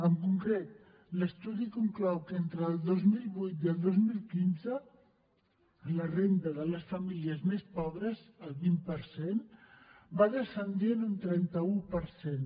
en concret l’estudi conclou que entre el dos mil vuit i el dos mil quinze la renda de les famílies més pobres el vint per cent va descendir en un trenta un per cent